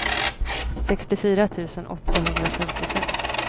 sextiofyra tusen åttahundrafemtiofem